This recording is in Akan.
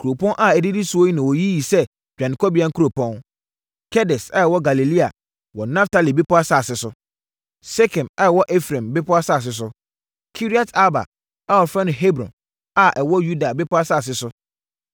Nkuropɔn a ɛdidi so yi na wɔyiyi yɛɛ hɔ dwanekɔbea nkuropɔn: Kedes a ɛwɔ Galilea wɔ Naftali bepɔ asase so, Sekem a ɛwɔ Efraim bepɔ asase so, Kiriat-Arba a wɔfrɛ no Hebron a ɛwɔ Yuda bepɔ asase so.